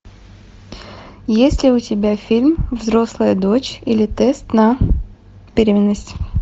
есть ли у тебя фильм взрослая дочь или тест на беременность